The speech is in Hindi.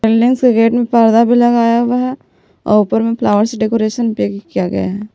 मेन्स के गेट में पर्दा भी लगाया हुआ है और ऊपर में फ्लावर्स से डेकोरेशन पे किया गया है।